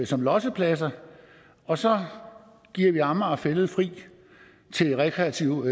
som lossepladser og så giver vi amager fælled fri til rekreativt